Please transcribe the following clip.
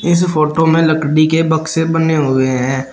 इस फोटो में लकड़ी के बक्से बने हुए हैं।